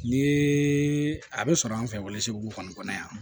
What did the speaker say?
Ni a be sɔrɔ an fɛ wolosegu kɔni kɔnɔ yan